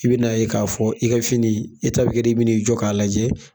I be na k'a fɔ i ka fini e ta bi kɛ de i bi n'i jɔ k'a lajɛ